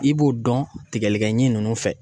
I b'o dɔn tigɛlikɛɲin ninnu fɛ